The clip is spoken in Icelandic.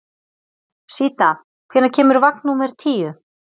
Síta, hvenær kemur vagn númer tíu?